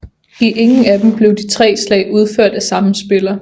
I ingen af dem blev de tre slag udført af samme spiller